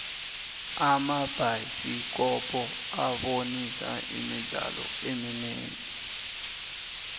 amabhayisikopo abonisa imidlalo eminingi